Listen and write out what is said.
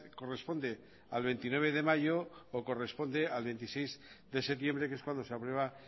corresponde al veintinueve de mayo o corresponde al veintiséis de septiembre que es cuando se aprueba